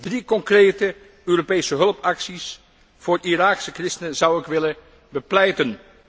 Drie concrete Europese hulpacties voor Iraakse christenen zou ik willen bepleiten.